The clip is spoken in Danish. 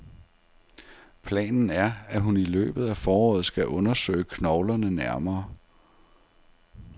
Planen er, at hun i løbet af foråret skal undersøge knoglerne nærmere.